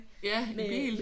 Ja i bil?